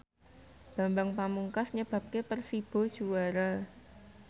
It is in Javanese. Bambang Pamungkas nyebabke Persibo juara